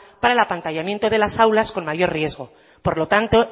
para el apantallamiento de las aulas con mayor riesgo por lo tanto